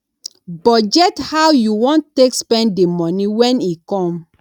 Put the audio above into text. budget how you want take spend the money when e come